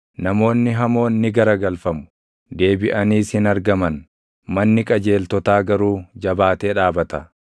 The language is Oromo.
Namoonni hamoon ni garagalfamu; deebiʼaniis hin argaman; manni qajeeltotaa garuu jabaatee dhaabata.